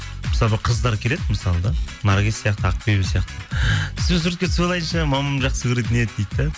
мысалы бір қыздар келеді мысалы да наргиз сияқты ақбибі сияқты сізбен суретке түсіп алайыншы мамам жақсы көретін еді дейді де